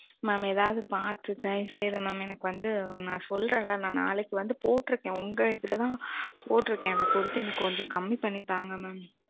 மாம் ஏதாது பாத்து தைவசெஞ்சி மாம் நா சொல்றேன் ல நா நாளைக்கு வந்து போட்ருக்கேன் அதை கொஞ்சம் கம்மி பண்ணி தான்க மாம்